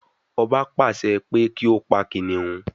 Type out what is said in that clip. Ọba pàṣẹ pé kí ó pa kìnnìún